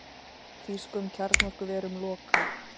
Þýskum kjarnorkuverum lokað